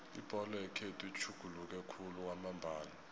ibholo yekhethu itjhuguluke khulu kwamambala